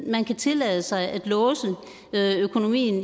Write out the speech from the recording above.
man kan tillade sig at låse økonomien